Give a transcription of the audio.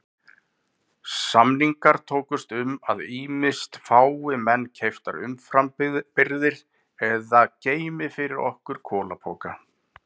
Samningar tókust um að ýmist fái menn keyptar umframbirgðir eða geymi fyrir okkur kolapoka.